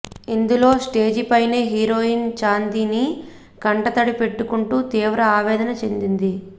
ఇందులో స్టేజీపైనే హీరోయిన్ చాందినీ కంటతడి పెట్టుకుంటూ తీవ్ర ఆవేదన చెందింది